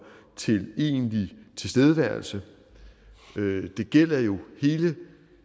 til egentlig tilstedeværelse det gælder jo hele